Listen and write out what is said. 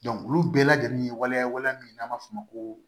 olu bɛɛ lajɛlen ye waliyawale min n'an b'a f'o ma ko